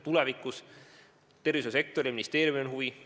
Tervishoiusektoril, ministeeriumil on huvi.